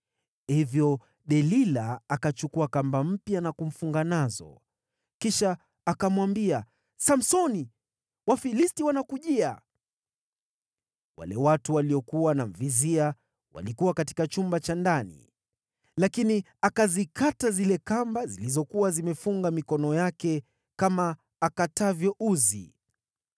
Hivyo Delila akachukua kamba mpya na kumfunga nazo. Kisha akamwambia, “Samsoni, Wafilisti wanakujia!” Wale watu waliokuwa wanamvizia walikuwa katika chumba cha ndani. Lakini akazikata zile kamba zilizokuwa zimefunga mikono yake kama akatavyo uzi.